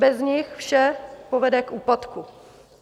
Bez nich vše povede k úpadku.